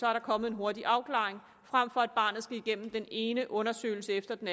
er der kommet en hurtig afklaring frem for at barnet skal igennem den ene undersøgelse efter den